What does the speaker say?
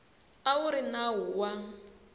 a wu ri nawu wa